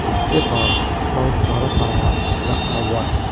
इसके पास बहुत सारा सामान रखा हुआ है।